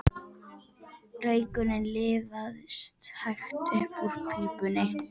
Reykurinn liðaðist hægt upp úr pípunni.